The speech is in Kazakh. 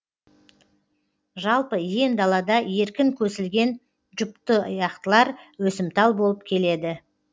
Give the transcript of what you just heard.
жалпы иен далада еркін көсілген жұптұяқтылар өсімтал болып келеді